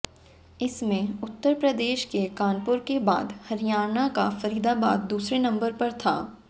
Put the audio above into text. इसमें उत्तर प्रदेश के कानपुर के बाद हरियाणा का फरीदाबाद दूसरे नंबर पर था